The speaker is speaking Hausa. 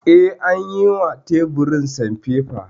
Eh, an yi wa teburin sanfefa